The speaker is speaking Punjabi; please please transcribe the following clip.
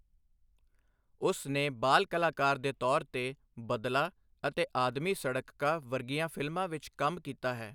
ਉਸ ਨੇ ਬਾਲ ਕਲਾਕਾਰ ਦੇ ਤੌਰ 'ਤੇ 'ਬਦਲਾ' ਅਤੇ 'ਆਦਮੀ ਸੜਕ ਕਾ' ਵਰਗੀਆਂ ਫਿਲਮਾਂ ਵਿੱਚ ਕੰਮ ਕੀਤਾ।